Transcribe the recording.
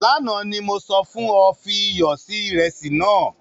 Lánà ni mo sọ fun ọ, fi iyọ si iresi nàá.